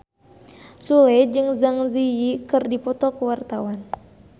Sule jeung Zang Zi Yi keur dipoto ku wartawan